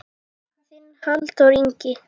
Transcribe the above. Þinn Halldór Ingi.